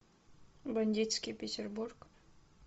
бандитский петербург